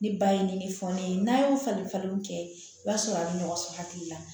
Ni ba ye ni fɔ ne ye n'a y'o falen falenw kɛ i b'a sɔrɔ a bɛ nɔgɔ sɔrɔ hakili la